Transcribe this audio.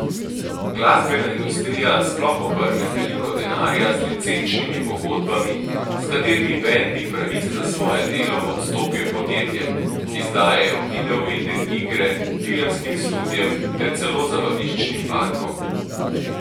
Glasbena industrija sploh obrne veliko denarja z licenčnimi pogodbami, s katerimi bendi pravice za svoje delo odstopijo podjetjem, ki izdajajo videoigre, filmskim studiem ter celo zabaviščnim parkom.